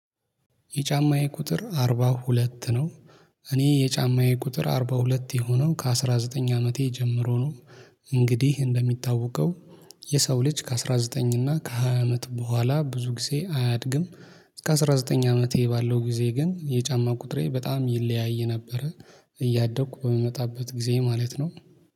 የጫማዬ ቁጥር አርባ ሁለት ነው። እኔ የጫማዬ ቁጥር አርባ ሁለት የሆነው ከአስራ ዘጠኝ አመቴ ጀምሮ ነው። እንግዲህ እንደሚታወቀው የሰው ልጅ ከአስራ ዘጠኝ እና ከሃያ አመት በኋላ ብዙ ጊዜ አያድግም። ከአስራ ዘጠኝ አመቴ ባለው ጊዜ ግን የጫማ ቁጥሬ በጣም ይለያይ ነበረ። እያደኩ በምመጣበት ጊዜ ማለት ነው